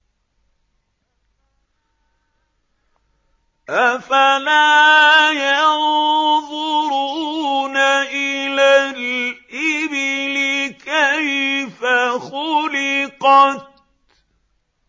أَفَلَا يَنظُرُونَ إِلَى الْإِبِلِ كَيْفَ خُلِقَتْ